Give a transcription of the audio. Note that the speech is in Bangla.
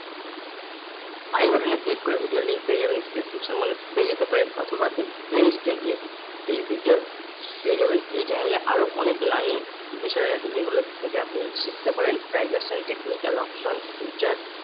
I button এ click করে video link পেয়ে যাবেন নিচে description মানে পেয়ে যেতে পারেন অথবা আপনি play store এ গিয়ে এই video পেয়ে যাবেন এই channel আরো অনেক learning বিষয় আছে যেগুলোর থেকে আপনি শিখতে পারেন, prize and technical option, future